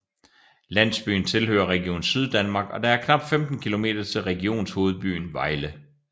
Landsbyen tilhører Region Syddanmark og der er knap 15 kilometer til regionshovedbyen Vejle